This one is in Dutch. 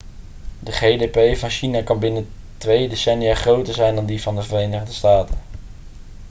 de gdp van china kan binnen twee decennia groter zijn dan die van de verenigde staten